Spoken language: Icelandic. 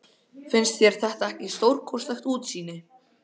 Finnst þér þetta ekki stórkostlegt útsýni?